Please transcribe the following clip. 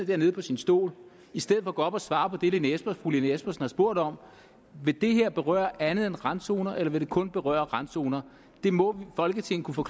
dernede på sin stol i stedet for at gå op og svare på det fru lene espersen har spurgt om vil det her berøre andet end randzoner eller vil det kun berøre randzoner det må folketinget kunne